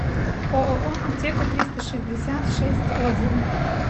ооо аптека триста шестьдесят шесть отзывы